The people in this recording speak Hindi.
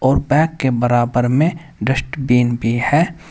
और बैग के बराबर में डस्टबिन भी है।